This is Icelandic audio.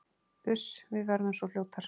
Uss, við verðum svo fljótar